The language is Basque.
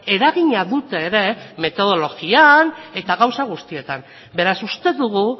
eragina dute ere metodologian eta gauza guztietan beraz uste dugu